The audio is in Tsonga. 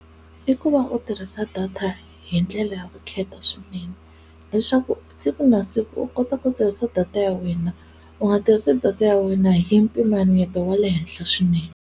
I ku va u tirhisa data hi ndlela ya vukheta swinene leswaku siku na siku u kota ku tirhisa data ya wena u nga tirhisi data ya wena hi mpimanyeto wa le henhla swinene.